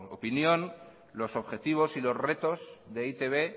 opinión los objetivos y los retos de e i te be